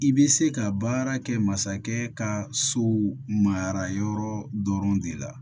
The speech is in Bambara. I bɛ se ka baara kɛ masakɛ ka so mara yɔrɔ dɔrɔn de la